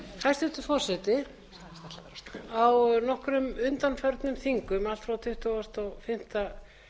hæstvirtur forseti á nokkrum undanförnum þingum allt frá tuttugasta og fimmta